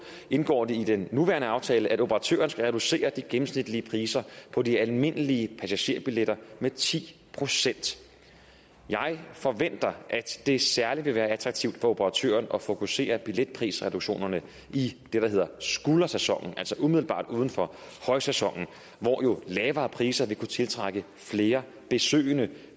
indgår det i den nuværende aftale at operatøren skal reducere de gennemsnitlige priser på de almindelige passagerbilletter med ti procent jeg forventer at det særlig vil være attraktivt for operatøren at fokusere billetprisreduktionerne i det der hedder skuldersæsonen altså umiddelbart uden for højsæsonen hvor lavere priser jo vil kunne tiltrække flere besøgende